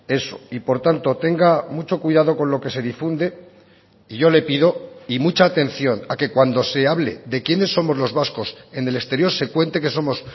eso y por tanto tenga mucho cuidado con lo que se difunde y yo le pido y mucha atención a que cuando se hable de quiénes somos los vascos en el exterior se cuente que somos